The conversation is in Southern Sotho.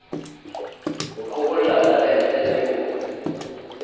ho qoholla talente le ho